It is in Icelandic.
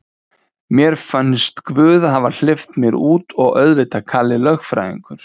Mér finnst guð hafa hleypt mér út og auðvitað Kalli lögfræðingur.